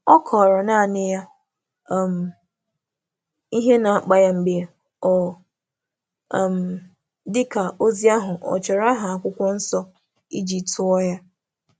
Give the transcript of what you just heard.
Ọ kọọrọ naanị ya um ihe na-akpa ya mgbe ọ um dị ka ozi ahụ ọ chọrọ aha akwụkwọ Nsọ ijituo ya